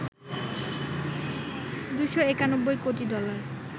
২৯১ কোটি ডলার